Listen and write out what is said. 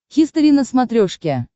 хистори на смотрешке